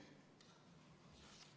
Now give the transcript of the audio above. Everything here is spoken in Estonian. Aitäh!